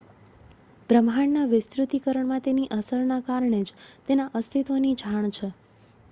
બ્રહ્માંડના વિસ્તૃતીકરણમાં તેની અસરના કારણે જ તેના અસ્તિત્વની જાણ છે